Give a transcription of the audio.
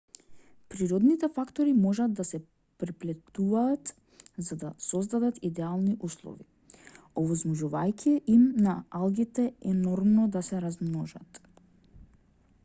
природните фактори можат да се преплетуваат за да создадат идеални услови овозможувајќи им на алгите енормно да се размножат